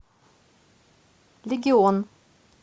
легион